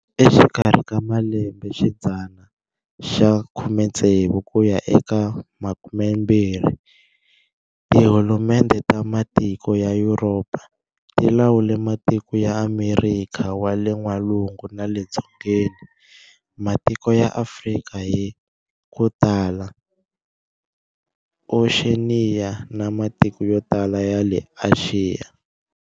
Exikarhi ka malembe xidzana ya 16 kuya eka 20, Tihulumendhe ta matiko ya Yuropa, ti lawule matiko ya Amerikha wa le N'walungu na le Dzongeni, matiko ya Afrika hi kutala, Oxeniya na matiko yo tala ya le Axiya.